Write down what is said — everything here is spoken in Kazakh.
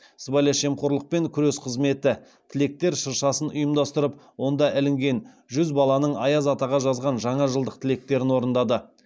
сыбайлас жемқорлыпен күрес қызметі тілектер шыршасын ұйымдастырып онда ілінген жүз баланың аяз атаға жазған жаңа жылдық тілектерін орындады